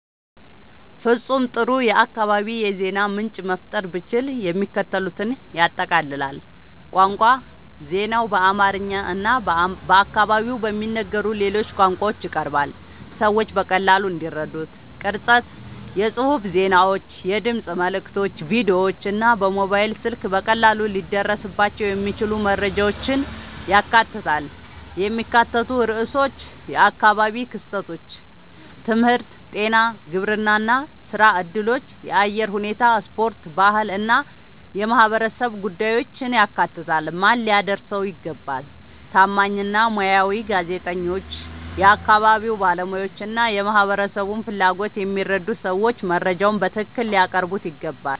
ፍጹም ጥሩ የአካባቢ የዜና ምንጭ መፍጠር ብችል፣ የሚከተሉትን ያጠቃልላል፦ ቋንቋ ዜናው በአማርኛ እና በአካባቢው በሚነገሩ ሌሎች ቋንቋዎች ይቀርባል፣ ሰዎች በቀላሉ እንዲረዱት። ቅርጸት የጽሑፍ ዜናዎች፣ የድምፅ መልዕክቶች፣ ቪዲዮዎች እና በሞባይል ስልክ በቀላሉ ሊደረስባቸው የሚችሉ መረጃዎችን ያካትታል። የሚካተቱ ርዕሶች የአካባቢ ክስተቶች፣ ትምህርት፣ ጤና፣ ግብርና፣ ሥራ እድሎች፣ የአየር ሁኔታ፣ ስፖርት፣ ባህል እና የማህበረሰብ ጉዳዮችን ያካትታል። ማን ሊያደርሰው ይገባ? ታማኝ እና ሙያዊ ጋዜጠኞች፣ የአካባቢ ባለሙያዎች እና የማህበረሰቡን ፍላጎት የሚረዱ ሰዎች መረጃውን በትክክል ሊያቀርቡት ይገባል።